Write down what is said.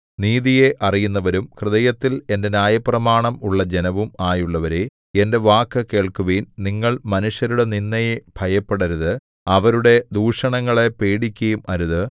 നീതിയെ അറിയുന്നവരും ഹൃദയത്തിൽ എന്റെ ന്യായപ്രമാണം ഉള്ള ജനവും ആയുള്ളവരേ എന്റെ വാക്കു കേൾക്കുവിൻ നിങ്ങൾ മനുഷ്യരുടെ നിന്ദയെ ഭയപ്പെടരുത് അവരുടെ ദൂഷണങ്ങളെ പേടിക്കുകയും അരുത്